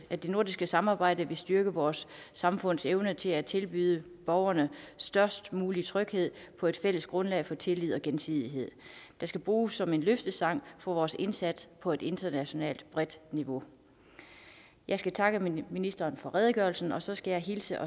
at det nordiske samarbejde vil styrke vores samfunds evne til at tilbyde borgerne størst mulig tryghed på et fælles grundlag af tillid og gensidighed det skal bruges som en løftestang for vores indsats på et internationalt højt niveau jeg skal takke ministeren for redegørelsen og så skal jeg hilse